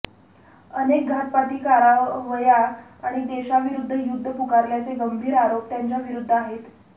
अनेक घातपाती कारवाया आणि देशाविरुद्ध युद्ध् पुकारल्याचे गंभीर आरोप त्याच्याविरुद्ध् आहेत